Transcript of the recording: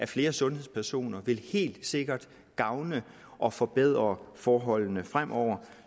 flere sundhedspersoner vil helt sikkert gavne og forbedre forholdene fremover